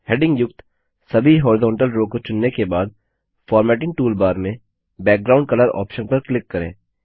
heading युक्त सभी horizontal row को चुनने के बाद फॉर्मेटिंग टूलबार में बैकग्राउंड कलर ऑप्शन पर क्लिक करें